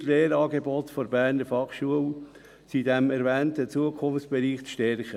«[D]ie Lehrangebote der Berner Fachschule sind in dem erwähnten Zukunftsbereich zu stärken.